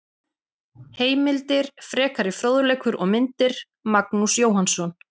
Heimildir, frekari fróðleikur og myndir: Magnús Jóhannsson.